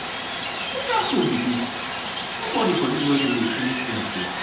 which kin food be dis nobody for dis wedding dey finish their food.